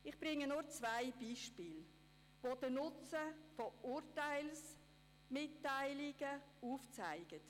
Ich gebe Ihnen zwei Beispiele, die den Nutzen von Urteilsmitteilungen aufzeigen.